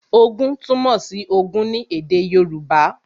Ogún túmọ̀ sí Ogún ní èdè Yorùbá